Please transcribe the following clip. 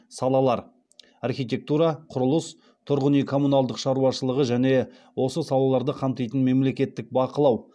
салалар архитектура құрылыс тұрғын үй коммуналдық шаруашылығы және осы салаларды қамтитын мемлекеттік бақылау